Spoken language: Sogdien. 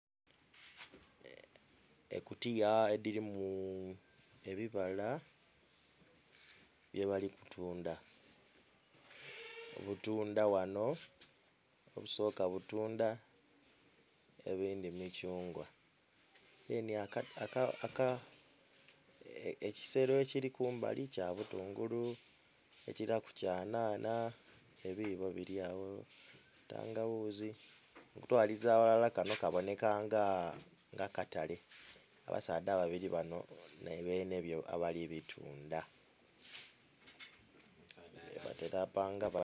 Ekutiya edhirimu ebibala bye bali kutundha obutundha ghano obusoka butundha ebindhi mithungwa deni aka... ekisero ekiri kumbali kya butungulu, ekiraku kya nhanha ebibo biri agho entangaghuzi okutwaliza aghalala kano kaboneka nga katale abasaadha ababiri bano nibene byo abali bitundha batera panga....